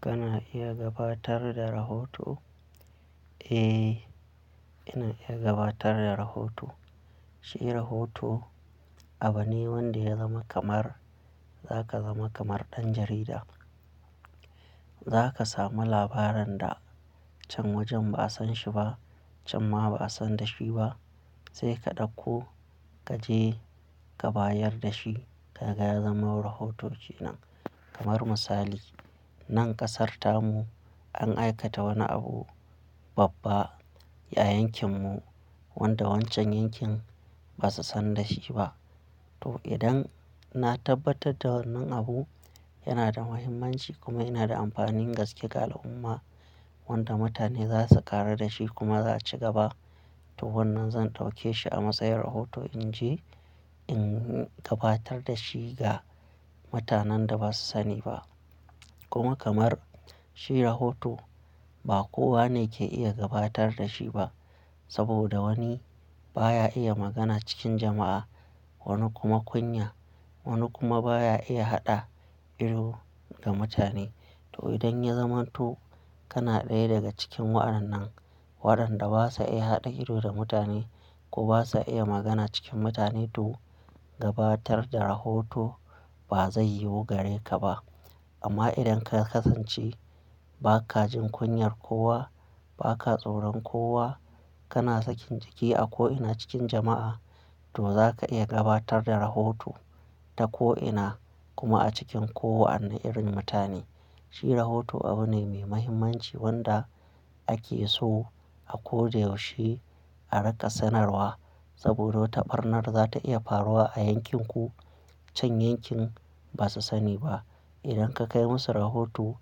Kana iya gabatar da rahoto? Eh, ina iya gabatar da rahoto. Shi rahoto abune wanda ya zama kamar za ka zama kamar ɗan jarida. Zaka samu labaran da can wajen ba, a san shi ba, can ma ba, a san da shi ba. Sai ka ɗakko, kaje ka bayadda shi. Kaga ya zama rahoto kenan. Kamar misali, nan ƙasar tamu an aikata wani abu babba ya yankin mu wanda wancan yankin basu san da shiba. To idan na tabbatadda wannan abu yana da mahimmanci kuma yana da amfanin gaske, ga al'umma wanda mutane zasu ƙaru da shi kuma za, a cigaba, to wannan zan ɗauke shi a matsayin rahoto inje in gabatar da shi ga mutanen da ba su sani ba. Kuma kamar shi rahoto ba kowa ne ke iya gabatar da shi ba. Saboda wani baya iya magana cikin jama'a, wani kuma kunya, wani kuma baya iya haɗa ido da mutane. To idan ya zamanto kana ɗaya daga cikin wa, annan waɗanda basa iya haɗa ido da mutane ko basa iya magana cikin mutane, to gabatar da rahoto ba zai yiwu gare ka ba. Amma idan ka kasance baka jin kunyar kowa, baka tsoron kowa, kana sakin jiki a ko'ina cikin jama'a, to zaka iya gabatar da rahoto ta ko'ina kuma a cikin kowane irin mutane. Shi rahoto abune mai muhimmanci wanda ake so a koda yaushe a rinka sanarwa. Saboda wata barnar zata iya faruwa a yankin ku can yankin basa sani ba. Idan ka kai musu rahoto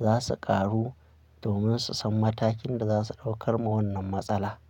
za su ƙaru domin su san matakin da za su ɗaukar ma wannan matsala.